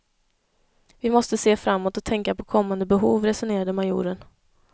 Vi måste se framåt och tänka på kommande behov, resonerade majoren.